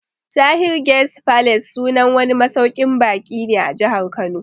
Tahir Guest Palace sunan wani masauƙin baƙi ne a Jahar Kano